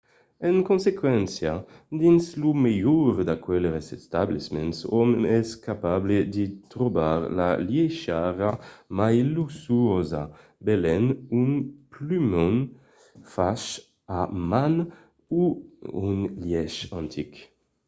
en consequéncia dins lo melhor d'aqueles establiments òm es capable de trobar la liechariá mai luxuosa benlèu un plumon fach a man o un lièch antic